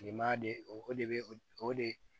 Kilema de o de be o o de